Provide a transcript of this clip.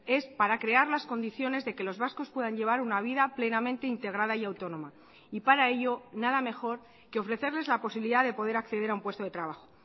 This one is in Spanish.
es para crear las condiciones de que los vascos puedan llevar una vida plenamente integrada y autónoma y para ello nada mejor que ofrecerles la posibilidad de poder acceder a un puesto de trabajo